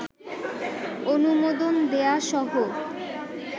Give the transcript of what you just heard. অনুমোদন দেয়াসহ